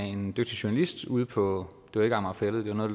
en dygtig journalist ude på det var ikke amager fælled men noget